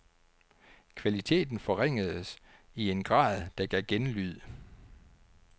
Kvaliteten forringedes i en grad, der gav genlyd.